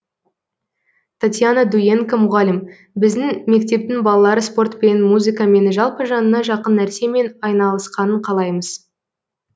татьяна дуенко мұғалім біздің мектептің балалары спортпен музыкамен жалпы жанына жақын нәрсемен айналысқанын қалаймыз